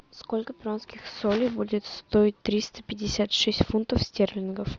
сколько перуанских солей будет стоить триста пятьдесят шесть фунтов стерлингов